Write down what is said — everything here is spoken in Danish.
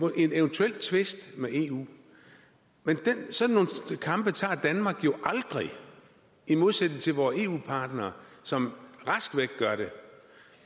en eventuel tvist med eu men sådan nogle kampe tager danmark jo aldrig i modsætning til vore eu partnere som rask væk gør det